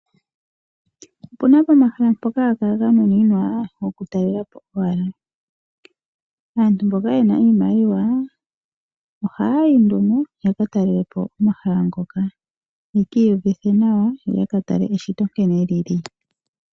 Opu na omahala ngoka ga nuninwa oku talelapo owala. Aantu mboka ye na iimaliwa oha ya yi nduno yaka talelepo omahala ngoka, yeki uvithe nawa ,yo yatale eshito nkene lyili.